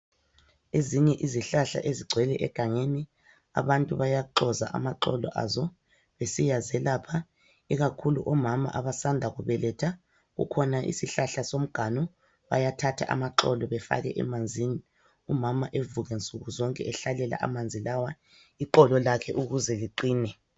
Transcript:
Ezinye izihlahla ezigcwele egangeni, abantu bayaxoza amaxolo azo besiyazelapha, ikakhulu omama abasanda kubeletha. Kukhona isihlahla somganu ,bayathatha amaxolo befake emanzini umama evuke nsuku zonke ehlalela amanzi lawa, iqolo lakhe ukuze liqine.